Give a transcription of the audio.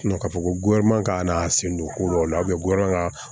ka fɔ ko k'a n'a sen don ko dɔw la ka